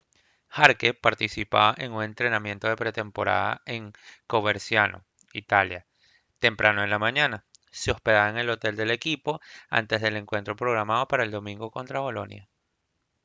jarque participaba en un entrenamiento de pretemporada en coverciano italia temprano en la mañana se hospedaba en el hotel del equipo antes de un encuentro programado para el domingo contra bolonia